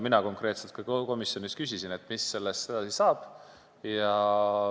Mina konkreetselt ka küsisin komisjonis, mis sellest edasi saab.